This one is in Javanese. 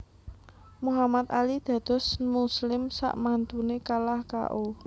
Muhammad Ali dados muslim sakmantune kalah K O